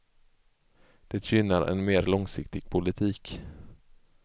Det gynnar en mer långsiktig politik.